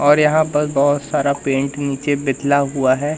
और यहां पल बहुत सारा पेंट नीचे बितला हुआ है।